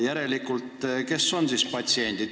Järelikult, kes on siis patsiendid?